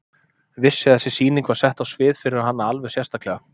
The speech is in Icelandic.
Vissi að þessi sýning var sett á svið fyrir hana alveg sérstaklega.